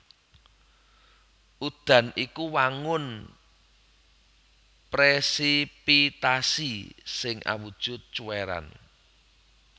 Udan iku wangun presipitasi sing awujud cuwèran